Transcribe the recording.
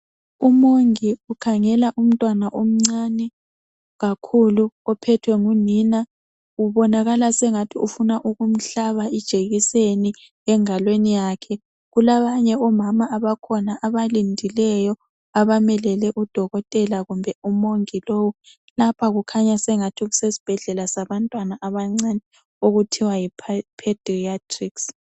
Umongi ukhangela umntwana omncane kakhulu ophethwe ngunina ubonakala sengathi ufuna ukumhlaba ijekiseni engalweni yakhe . Kulabanye omama abakhona abalindileyo abamelele odokotela kumbe umongi lowu. Lapha kukhanya sengathi kusesibhedlela sabantwana abancane okuthiwa yipadeyatirics.